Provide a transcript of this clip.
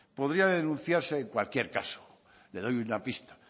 podría denunciarse en cualquier caso le doy una pista